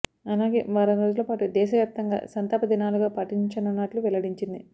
అలాగే వారం రోజులపాటు దేశ వ్యాప్తంగా సంతాప దినాలుగా పాటించనున్నట్లు వెల్లడించింది